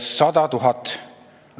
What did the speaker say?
– 100 000 euroga.